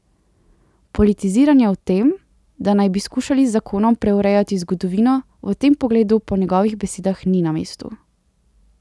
Politiziranje o tem, da naj bi skušali z zakonom preurejati zgodovino, v tem pogledu po njegovih besedah ni na mestu.